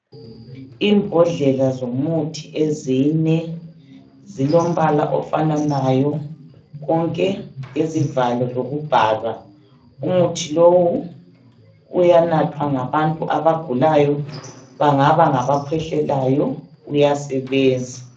Imbodlela zomuthi ezine. Zilombala ofananayo, konke lezivalo lokubhalwa. Umuthi lowu uyanathwa ngabantu abagulayo, bangaba ngabakhwehlelayo, uyasebenza.